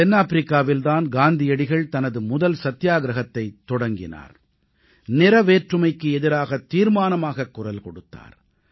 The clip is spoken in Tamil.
தென்னாப்பிரிக்காவில் தான் காந்தியடிகள் தனது முதல் சத்தியாகிரஹத்தை தொடங்கினார் நிறவேற்றுமைக்கு எதிராகத் தீர்மானமாக குரல் கொடுத்தார்